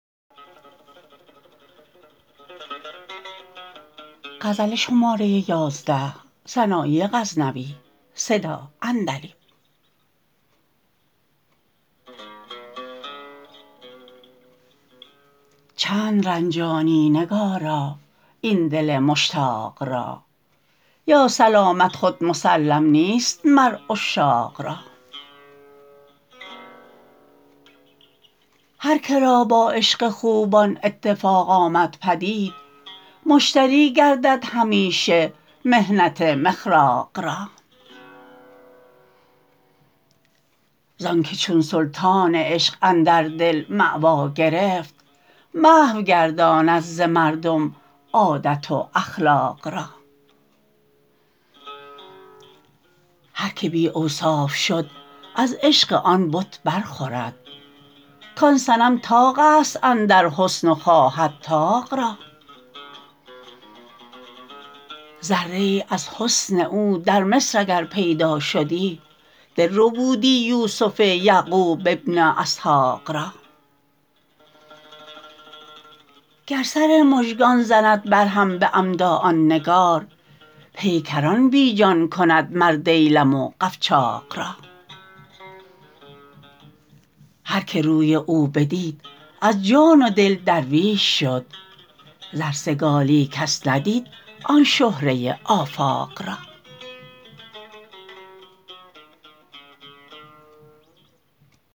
چند رنجانی نگارا این دل مشتاق را یا سلامت خود مسلم نیست مر عشاق را هر کرا با عشق خوبان اتفاق آمد پدید مشتری گردد همیشه محنت مخراق را زآنکه چون سلطان عشق اندر دلی ماوا گرفت محو گرداند ز مردم عادت و اخلاق را هر که بی اوصاف شد از عشق آن بت برخورد کان صنم طاقست اندر حسن و خواهد طاق را ذره ای از حسن او در مصر اگر پیدا شدی دل ربودی یوسف یعقوب بن اسحاق را گر سر مژگان زند بر هم به عمدا آن نگار پیکران بی جان کند مر دیلم و قفچاق را هر که روی او بدید از جان و دل درویش شد زر سگالی کس ندید آن شهره آفاق را